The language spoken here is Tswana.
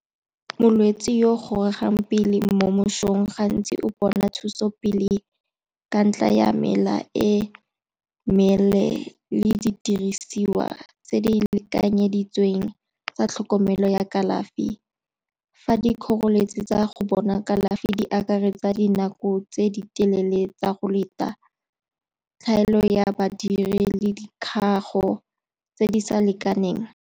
Molwetse yo gorogang pele mo mesong gantsi o bona thuso pele ka ntlha ya mela e meleele le didirisiwa tse di lekanyeditsweng tsa tlhokomele ya kalafi. Fa dikgoreletsi tsa go bona kalafi di akaretsa dinako tse di telele tsa go leta, tlhaelo ya badiri le dikgago tse di sa lekaneng.